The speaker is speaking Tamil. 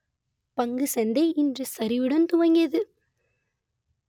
பங்குச்சந்தை இன்று சரிவுடன் துவங்கியது